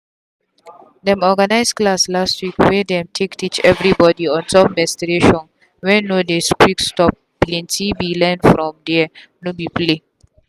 them organize class last week wey them take teach everybody on top menstruation wen no dey quick stopplenty be learn from thereno be play.